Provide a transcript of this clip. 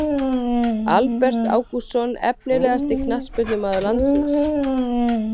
Albert Ágústsson Efnilegasti knattspyrnumaður landsins?